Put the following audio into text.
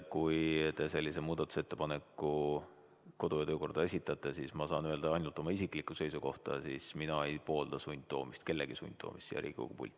Kui te sellise muudatusettepaneku kodu- ja töökorra kohta esitate, siis ma saan öelda ainult oma isikliku seisukoha: mina ei poolda sundtoomist, kellegi sundtoomist siia Riigikogu pulti.